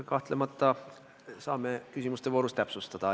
Kahtlemata saame küsimuste voorus täpsustada.